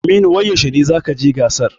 Aminu wai yaushe ne zakaje gasar?